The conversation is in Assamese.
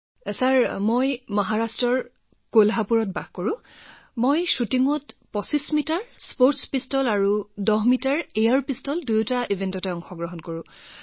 অভিদন্য ছাৰ মই মহাৰাষ্ট্ৰৰ কলহাপুৰ প্ৰপাৰৰ শ্বুটিঙত ২৫ মিটাৰ স্পৰ্টছ পিষ্টল আৰু ১০ মিটাৰ এয়াৰ পিষ্টল দুয়োটা ইভেণ্টত প্ৰতিদ্বন্দ্বিতা কৰো